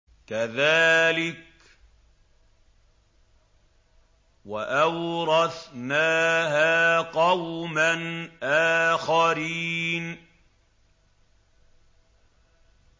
كَذَٰلِكَ ۖ وَأَوْرَثْنَاهَا قَوْمًا آخَرِينَ